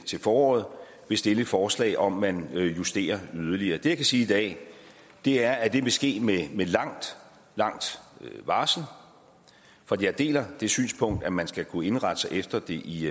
til foråret vil stille et forslag om at man justerer yderligere det jeg kan sige i dag er at det vil ske med et langt langt varsel jeg deler det synspunkt at man skal kunne indrette sig efter det i